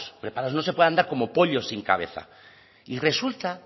preparados no se puede andar como pollos sin cabeza y resulta